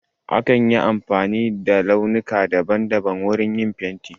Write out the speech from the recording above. Akan yi amfani da launuka daban daban wurin yin fenti.